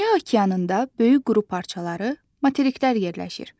Dünya okeanında böyük quru parçaları – materiklər yerləşir.